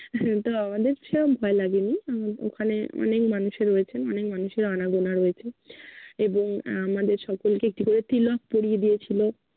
তো আমাদের সেরম ভয় লাগে নি, উম ওখানে অনেক মানুষে রয়েছেন। অনেক মানুষের আনাগোনা রয়েছে এবং আমাদের সকলকে একটি করে তিলক পরিয়ে দিয়েছিলো।